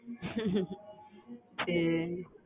சரி